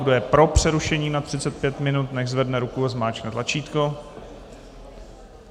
Kdo je pro přerušení na 35 minut, nechť zvedne ruku a zmáčkne tlačítko.